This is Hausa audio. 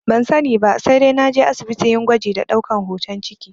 Ban sani ba, sai dai naje asibiti yin gwaji da ɗaukan hoton ciki